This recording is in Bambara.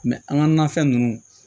an ka nafɛn ninnu